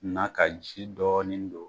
N'a ka ji dɔɔnin don,